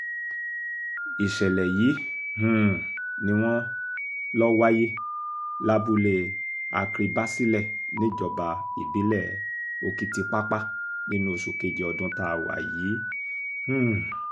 ìṣẹ̀lẹ̀ yìí um ni wọ́n lọ wáyé lábúlé akribasilẹ̀ níjọba ìbílẹ̀ òkìtìpápá nínú oṣù kejì ọdún tá wà yìí um